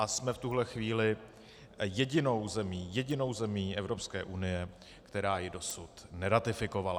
A jsme v tuhle chvíli jedinou zemí - jedinou zemí Evropské unie, která ji dosud neratifikovala.